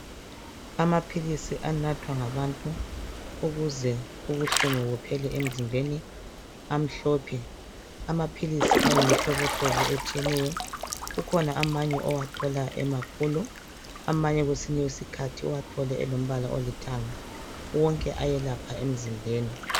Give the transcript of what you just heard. Amaphilisi anathwa ngabantu ukuze ubuhlungu buphele emzimbeni, amhlophe. Amaphilisi ayimihlobohlobo etshiyeneyo. Kukhona amanye owathola emakhulu, amanye kwesinye isikhathi uwathole elombala olithanga. Wonke ayelapha emzimbeni.